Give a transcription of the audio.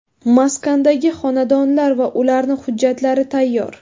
Maskandagi xonadonlar va ularni hujjatlari tayyor.